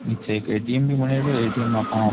नीचे एक ए.टी.एम भी बनेडो है ए.टी.एम मै आपां --